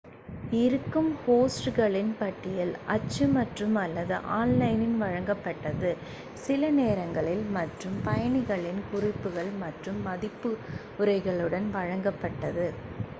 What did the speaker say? இருக்கும் ஹோஸ்ட்களின் பட்டியல் அச்சு மற்றும் / அல்லது ஆன்லைனில் வழங்கப்பட்டது சில நேரங்களில் மற்ற பயணிகளின் குறிப்புகள் மற்றும் மதிப்புரைகளுடன் வழங்கப்பட்டது